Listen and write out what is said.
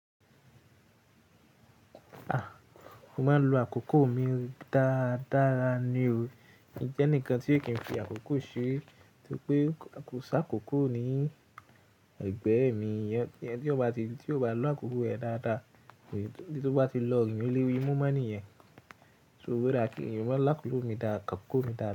A! Mo máa ń lo àkókò mi dáadára ni o. Mi jẹ́ ẹnikan tí o kì n fi àkókò ṣe. Nítorí pé kò ṣá kò kò ní ẹ̀gbẹ́ mi. Ẹni tí ó bá ti, tí ó bá lo àkókò rẹ̀ dáadáa, tí ó bá ti lọ rìn o lé ri mú, mo mọ̀ ní ẹ̀. So wí pé raki, ìyàwó ńlá kò ló mi dá, àkókò mi dáadáa.